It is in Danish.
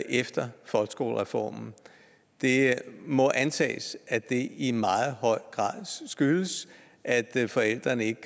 efter folkeskolereformen det må antages at det i meget høj grad skyldes at forældrene ikke